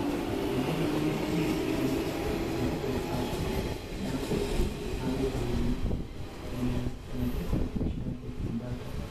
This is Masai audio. Amu ore iltung'anak kumok nemeshetu irbulabul ashu inaapuku naayiolouni, mee enetipat oshiake embaata.